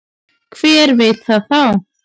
Hver veit það þá?